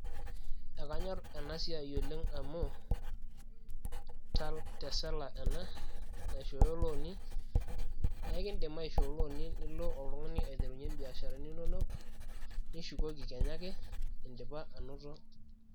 ekanyorr ena siai oleng amuu tesala ena naishooyo ilooni neekindim aishoo ilooni nilo oltung'ani aiterunyie imbiasharani inonok nishukoki kenya ake indipa anoto.